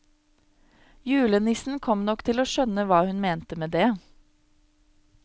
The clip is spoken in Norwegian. Julenissen kom nok til å skjønne hva hun mente med det.